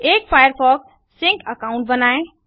एक Firefox sync account बनाएँ